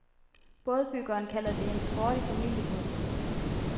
Bådbyggeren kalder den en sporty familiebåd.